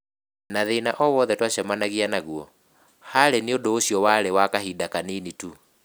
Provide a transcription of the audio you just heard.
Na thĩna o wothe twacemanagia naguo, harĩ niĩ ũndũ ũcio warĩ wa kahinda kanini tu".